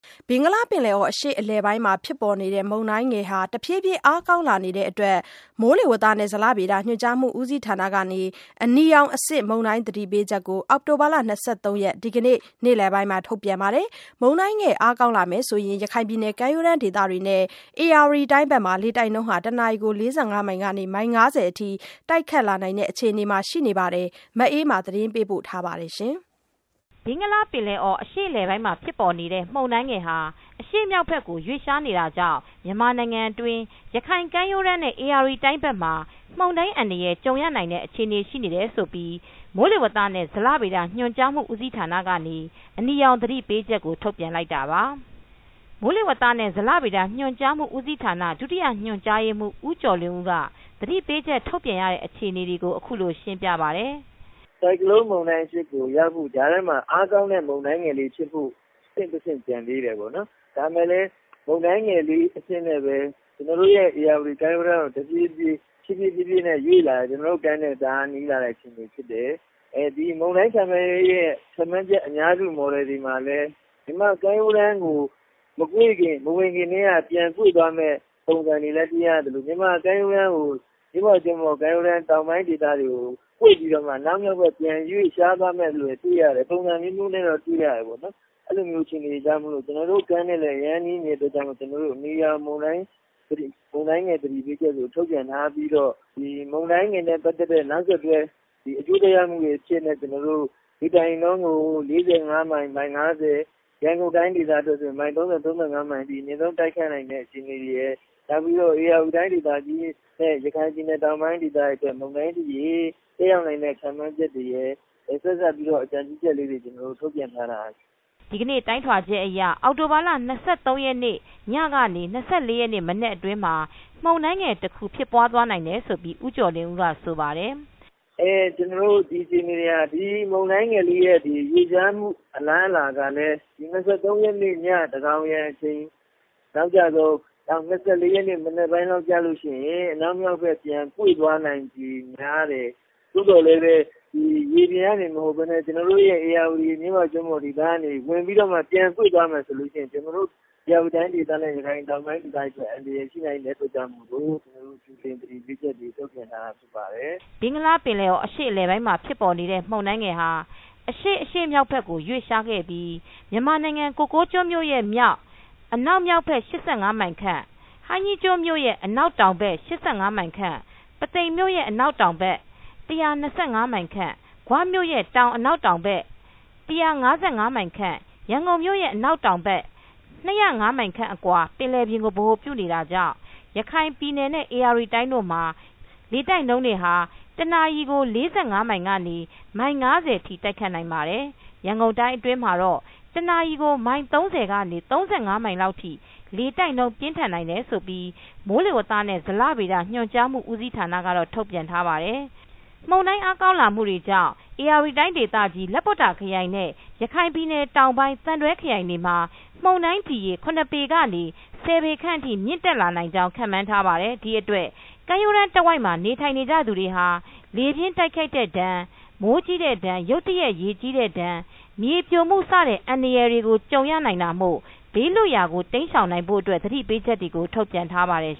ဘင်္ဂလားပင်လယ်အော်အရှေ့အလယ်ပိုင်းမှာ ဖြစ်ပေါ်နေတဲ့ မုန်တိုင်းငယ်ဟာ တဖြည်းဖြည်း အားကောင်းလာနိုင်တဲ့ အတွက် မိုးလေဝသနဲ့ ဇလဗေဒ ညွန်ကြားမူ ဦးစီးဌာကနေ အနီရောင်အဆင့်မုန်တိုင်း သတိပေးချက်ကို အောင်တိုဘာလ ၂၃ ရက်နေ့ နေ့လယ် မှာထုတ်ပြန်ခဲ့ပါတယ်။ မုန်တိုင်းငယ် အားကောင်းလာမယ် ဆိုရင် ရခိုင်ပြည်နယ်ကမ်းရိုးတမ်းဒေသတွေနဲ့ ဧရာဝတီတိုင်း ဘက်တွေမှာလေတိုက်နှုန်း တွေက တနာရီကို ၄၅မိုင်ကနေ မိုင် ၅၀ အထိ တိုက်ခတ်လာမယ့် အခြေအနေရှိတယ်လို့လည်း ဆိုပါတယ်။ မအေးအေးမာက သတင်းပေးပို့ထားပါတယ် ။ ဘင်္ဂလားပင်လယ်အော်အရှေ့ အလယ်ပိုင်းမှာ ဖြစ်ပေါ်နေတဲ့ မုန်တိုင်းငယ်ဟာ အရှေမြောက်ဘက်ကို ရွေ့လျားနေတာကြောင့် မြန်မာနိုင်ငံတွင်း ရခိုင်ကမ်းရိုးတန်းနဲ့ ရာဝတီတိုင်းဘက်မှာ မုန်တိုင်းအန္တရာယ် ကြုံရနိုင်တဲ့အခြေအနေ ရှိတယ်ဆိုပြီး မိုးလေဝသနဲ့ ဇလဗေဒညွန်ကြားမှု ဦးစီးဌာနကနေ အနီရောင်သတိပေးချက်ကို ထုတ်ပြန်လိုက်တာပါ။ မိုးလေဝသနဲ့ ဇလဗေဒညွန်ကြားမှု ဦးစီးဌာန ဒုတိယညွန်ကြားရေးမှူး ဦးကျော်လွင်ဦးက သတိ ပေးချက်ထုတ် ပြန်ရတဲ့အခြေအနေကို အခုလိုရှင်းပြပါတယ်။ “ဆိုင်ကလုံး မုန်တိုင်းအဖြစ်ကို ရောက်ဖို့အတွက် ကြားထဲမှာ အားကောင်းတဲ့ မုန်တိုင်းငယ်ဖြစ်ဖို့ အဆင့် ၁ ဆင့် ကျန်သေးတယ်ပေါ့နော်။ ဒါပေမယ့်လည်း မုန်တိုင်းငယ်လေးအဖြစ်နဲ့ပဲ ကျနော်တို့ ဧရာဝတီတိုင်းကို တဖြေးဖြေးရွေ့လာတယ် ကျနော်တို့တိုင်းနဲ့ နီးလာတဲ့ အခြေအနေဖြစ်တယ်။ ဒီမုန်တိုင်းခန့်မှန်းရဲ့ အများစု model တွေမှာလည်း မြန်မာ့ ကမ်းရိုးတန်းကို မကွေ့ခင်၊ မဝင်ခင်မှာ ပြန်ကွေ့သွားမယ့် ပုံစံတွေလည်း တွေ့ရသလို၊ မြန်မာ့ ကမ်းရိုးတန်း တောင်ပိုင်းဒေသတွေကို ကွေ့ပြီးတော့မှ အနောက်မြောက်ဘက် ပြန်ရွေ့သွားမယ့် အနေအထားလည်း တွေ့ရတယ်။ ပုံစံအမျိုးမျိုးနဲ့ တွေ့ရတယ်ပေါ့နော်။ အဲဒီလိုမျိုးအခြေအနေတွေကြားမှာ ကျနော်တို့ ကမ်းရိုးနဲ့ အရမ်းနီးနေတဲ့အတွက်ကြောင့်မို့လို့ အနီရောင်မုန်တိုင်းငယ် သတိပေးချက်ကို ထုတ်ပြန်ထားပြီးတော့ ဒီမုန်တိုင်းငယ်နဲ့ ပတ်သက်တဲ့ အကျိုးသက်ရောက်မှုတွေအဖြစ်နဲ့ တစ်နာရီလျှင် မိုင် - မိုင် ၅၀၊ ရန်ကုန်တိုင်း အတွက်ဆိုရင် ၃၀-၃၅ မိုင်အထိ အများဆုံး တိုက်ခိုက်နိုင်တဲ့ အခြေအနေ တွေရယ်။ နောက်ပြီးတော့ ဧရာဝတီတိုင်းဒေသကြီး ၊ ရခိုင်ပြည်နယ် တောင်ပိုင်းတွေအတွက် မုန်တိုင်းသက်ရောက်နိုင်တဲ့ ခန့်မှန်းချက် တွေရယ် ဆက်စပ်ပြီးတော့ အကြံပြုချက်တွေရယ်ကို ကျနော်တို့ ထုတ်ပြန်ထားတာ။” ဒီတိုင်းထွာချက်တွေဟာ အောက်တိုဘာလ၂၃ရက်နေ့ ညကနေ ၂၄ရက်နေ့ မနက်အတွင်းမှာ မုန်တိုင်းငယ်တခုလည်းဖြစ်ပွားနိုင်တယ်လို့လည်း ဦးကျော်လွင်ဦးကဆိုပါတယ်။ “ကျနော်တို့ မုန်တိုင်းငယ်လေးရဲ့ ရွေ့လျှားမှု အလားအလာကလည်း ၂၃ရက်နေ့ ညသန်းခေါင်ယံအချိန် အနောက်ကျဆုံး နောက် ၂၄ရက်နေ့ မနက်ပိုင်းဆိုရင် အနောက်မြောက်ဘက် ပြန်ဖြစ်သွားနိုင်ခြေများတယ်။ သို့သော် ရေပြင်ကနေမဟုတ်ပဲနဲ့ ကျနော်တို့ ဧရာဝတီ မြစ်ဝကျွန်းပေါ်ကို ဝင်ပြီး ပြန်ကွေ့သွားမယ်ဆိုရင်ကျနော်တို့ ဧရာဝတီတိုင်းဒေသနဲ့ ရခိုင်တောင်ပိုင်းဒေသတွေအတွက် အန္တရာယ်ရှိနိုင်တယ်ဆိုတာကြောင့် မို့လို့ ကျနော်တို့ သတိပေးချက်တွေ ထုတ်ပြန်တာဖြစ်ပါတယ်။” ဘင်္ဂလားပင်လယ်အော်အရှေ့အလယ်ပိုင်းမှာ ဖြစ်ပေါ်နေတဲ့ မုန်တိုင်းငယ်ဟာ အရှေ့- အရှေ့မြောက်ဘက်သို့ ရွေ့လျားခဲ့ပြီး၊ မြန်မာနိုင်ငံ ကိုကိုးကျွန်းမြို့ရဲ့မြောက်အနောက်မြောက်ဘက် မိုင်ခန့်၊ ဟိုင်းကြီးကျွန်းမြို့ရဲ့ အနောက်တောင်ဘက် မိုင်ခန့်၊ ပုသိမ်မြို့ရဲ့အနောက်တောင်ဘက် မိုင်ခန့်၊ ဂွမြို့ရဲ့ တောင်-အနောက်တောင်ဘက် မိုင်ခန့်၊ ရန်ကုန်မြို့ရဲ့ အနောက်တောင်ဘက် မိုင်ခန့်အကွာ ပင်လယ်ပြင်ကို ဗဟိုပြုနေတာကြောင့် ရခိုင်ပြည်နယ်နဲ့ ဧရာဝတီတိုင်းတို့မှာ လေတိုက်နှှုန်း တနာရီကို ၄၅မိုင်ကနေ မိုင်၅၀ ထိ တိုက်ခတ်နိုင်ပါတယ်။ ရန်ကုန်တိုင်းအတွင်းမှာတော့ တနာရီကိုမိုင် ၃၀ကနေ ၃၅မိုင်လောက်ထိလေတိုက်နှုန်း ပြင်းထန်နိုင်တယ်လို့ မိုးဇလကတော့ ထုတ်ပြန် ထားပါတယ်။ မုန်းတိုင်းအားကောင်းလာမူကြောင့် ဧရာဝတီတိုင်းဒေသကြီး၊ လပွတ္တာခရိုင်နှင့် ရခိုင်ပြည်နယ်တောင်ပိုင်း၊ သံတွဲခရိုင်တို့ မှာ မုန်တိုင်း ဒီရေ ပေကနေ ပေခန့် အထိ မြင့်တက် နိုင်ကြောင့် ခန့်မှန်းထားပါတယ်။ ဒီအတွက် ကမ်းရိုးတမ်းတဝိုက် နေထိုင်သူတွေဟာ လေပြင်းတိုက်ခတ်တဲ့ဒဏ် မိုးကြီးတဲ့ဒဏ် ရုတ်တရက်ရေကြီးတဲ့ဒဏ်မြေပြိုမူစတဲ့အန္တရာယ်တွေ ကြုံရနိုင်တာမို့ ဘေးလွတ်ရာကို တိမ်းရှောင်းနိုင်ဖို့အတွက် သတိပေးချက်တွေကို ထုတ်ပြန်ထားပါတယ်